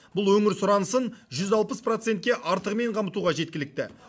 бұл өңір сұранысын жүз алпыс процентке артығымен қамтуға жеткілікті